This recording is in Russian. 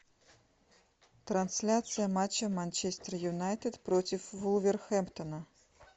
трансляция матча манчестер юнайтед против вулверхэмптона